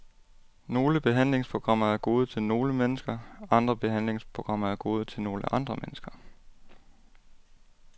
Nogle behandlingsprogrammer er gode til nogle mennesker, andre behandlingsprogrammer er gode til nogle andre mennesker.